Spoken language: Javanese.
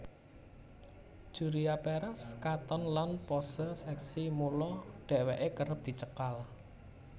Julia Perez katon lan pose seksi mula dheweke kerep dicekal